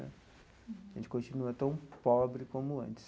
A gente continua tão pobre como antes.